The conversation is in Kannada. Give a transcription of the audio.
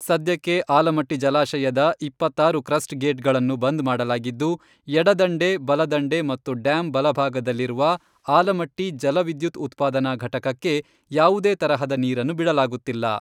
ಸದ್ಯಕ್ಕೆ ಆಲಮಟ್ಟಿ ಜಲಾಶಯದ ಇಪ್ಪತ್ತಾರು ಕ್ರಸ್ಟ್ ಗೇಟ್ಗಳನ್ನು ಬಂದ್ ಮಾಡಲಾಗಿದ್ದು, ಎಡದಂಡೆ, ಬಲದಂಡೆ ಮತ್ತು ಡ್ಯಾಮ್ ಬಲಭಾಗದಲ್ಲಿರುವ , ಆಲಮಟ್ಟಿ ಜಲ ವಿದ್ಯುತ್ ಉತ್ಪಾದನಾ ಘಟಕಕ್ಕೆ, ಯಾವುದೇ ತರಹದ ನೀರನ್ನು ಬಿಡಲಾಗುತ್ತಿಲ್ಲ.